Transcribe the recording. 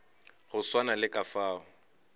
go swana le ka fao